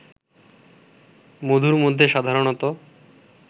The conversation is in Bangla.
মধুর মধ্যে সাধারণত